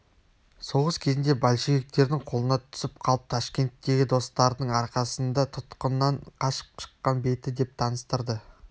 соғыс кезінде большевиктердің қолына түсіп қалып ташкенттегі достардың арқасында тұтқыннан қашып шыққан беті деп таныстырды